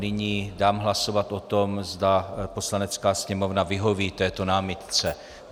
Nyní dám hlasovat o tom, zda Poslanecká sněmovna vyhoví této námitce.